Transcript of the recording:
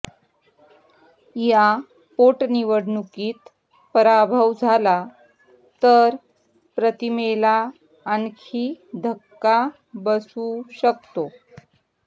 या पोटनिवडणुकीत पराभव झाला तर प्रतिमेला आणखी धक्का बसू शकतो